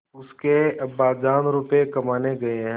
उसके अब्बाजान रुपये कमाने गए हैं